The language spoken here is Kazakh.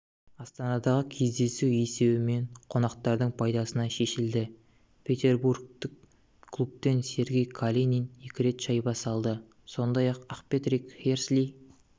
астанадағы кездесу есебімен қонақтардың пайдасына шешілді петербургтік клубтен сергей калинин екі рет шайба салды сондай-ақпатрик херсли